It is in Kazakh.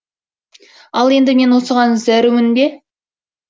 ал енді мен осыған зәрумін бе